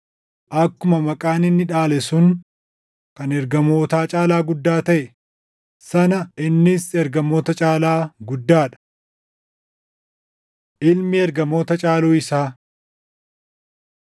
Akkuma maqaan inni dhaale sun kan ergamootaa caalaa guddaa taʼe sana innis ergamoota caalaa guddaa dha. Ilmi Ergamoota Caaluu Isaa